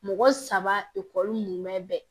Mɔgɔ saba mun bɛ